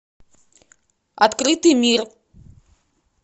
открытый мир